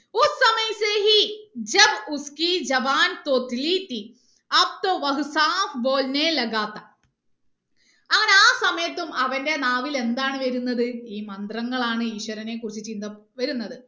അങ്ങനെ ആ സമയത്തും അവന്റെ നാവിൽ എന്താണ് വരുന്നത് ഈ മന്ത്രങ്ങൾ ആണ് ഈശ്വരനെ കുറിച്ച് ചിന്ത വരുന്നത്